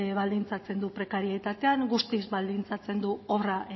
baldintzatzen du prekarietatean guztiz baldintzatzen du obra